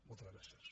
moltes gràcies